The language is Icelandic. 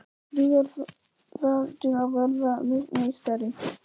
Dugar það til að verða meistari?